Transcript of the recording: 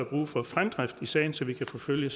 brug for fremdrift i sagen så vi kan forfølge